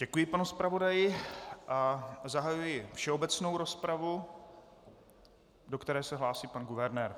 Děkuji panu zpravodaji a zahajuji všeobecnou rozpravu, do které se hlásí pan guvernér.